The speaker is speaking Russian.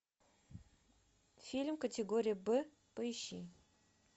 фильм категории б поищи